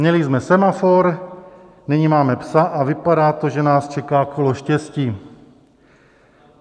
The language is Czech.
Měli jsme semafor, nyní máme "psa" a vypadá to, že nás čeká kolo štěstí.